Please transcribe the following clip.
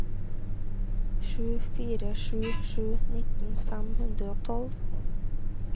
sju fire sju sju nitten fem hundre og tolv